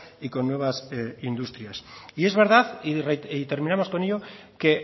y con nuevas industrias y es verdad y terminamos con ello que